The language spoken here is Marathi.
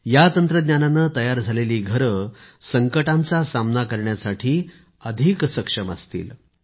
या तंत्रज्ञानाने तयार झालेली घरे संकटांचा सामना करण्यासाठी अधिक सक्षम असतील